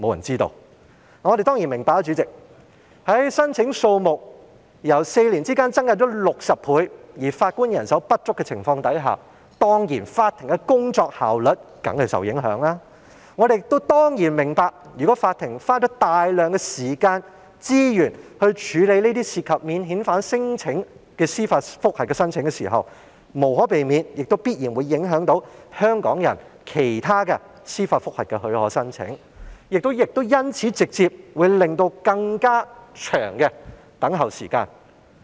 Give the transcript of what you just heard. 主席，我們當然明白，當申請數目在4年間增加了60倍，但法官人手又不足的情況下，法庭的工作效率當然會受到影響，我們亦明白如果法庭要花費大量時間和資源，來處理這些涉及免遣返聲請的司法覆核申請，將無可避免地必然會影響了其他香港人提出的司法覆核許可申請，亦會直接引起更長等候時間。